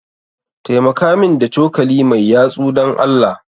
Taimaka min da cokali mai yatsu, Dan Allah.